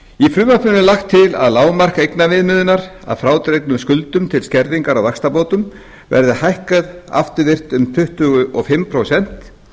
er lagt til að lágmark eignaviðmiðunar að frádregnum skuldum til skerðingar á vaxtabótum verði hækkað afturvirkt um tuttugu og fimm prósent